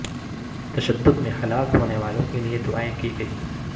تشدد میں ہلاک ہونے والوں کے لیے دعائیں کی گئیں